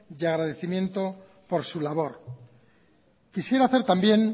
y agradecimiento por su labor quisiera hacer también